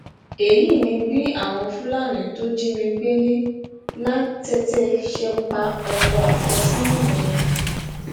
èyí ni bí àwọn fúlàní tó jí mi gbé ní lánlàtẹ ṣe pa ọkọ àfẹsọnà mi